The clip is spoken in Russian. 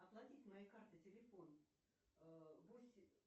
оплатить моей картой телефон восемь